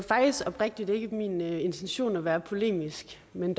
faktisk oprigtigt ikke min intention at være polemisk men